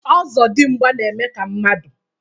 ọzọdimgba na-eme ka mmadụ.